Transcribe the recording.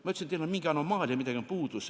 Ma ütlesin, et teil on mingi anomaalia, midagi on puudu.